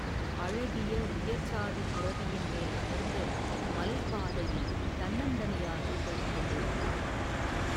அழகிய உயிர்சாதிப் புரவியின் மேல் அமர்ந்து மலைப் பாதையில் தன்னந்தனியாகப் போய்க் கொண்டிருந்தான்.